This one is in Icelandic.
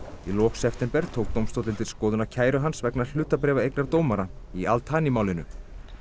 í lok september tók dómstóllinn til skoðunar kæru hans vegna hlutabréfaeignar dómara í Al Thani málinu